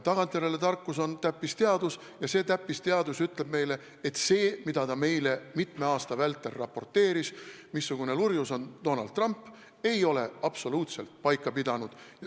Tagantjärele tarkus on täppisteadus ja see täppisteadus ütleb meile, et see, mida ta meile mitme aasta vältel raporteeris, rääkides, missugune lurjus on Donald Trump, ei ole absoluutselt paika pidanud.